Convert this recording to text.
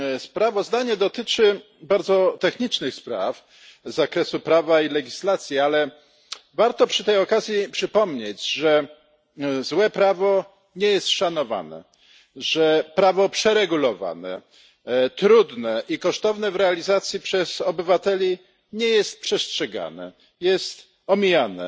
Sprawozdanie dotyczy bardzo technicznych spraw z zakresu prawa i legislacji, ale warto przy tej okazji przypomnieć, że złe prawo nie jest szanowane, że prawo przeregulowane, trudne i kosztowne w realizacji nie jest przez obywateli przestrzegane, jest omijane.